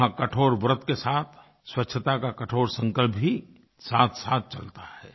वहाँ कठोरव्रत के साथ स्वच्छता का कठोरसंकल्प भी साथसाथ चलता है